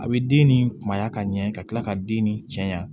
A bɛ den nin kunbaya ka ɲɛ ka kila ka den nin cɛɲan